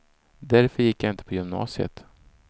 Därför gick jag inte på gymnasiet.